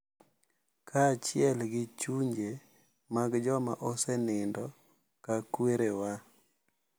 Kaachiel gi chunje mag joma osenindo ka kwerewa.